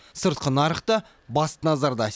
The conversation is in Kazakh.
сыртқы нарық та бас назарда